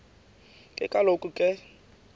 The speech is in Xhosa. ke kaloku ke